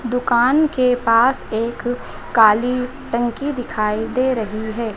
दुकान के पास एक काली टंकी दिखाई दे रही है।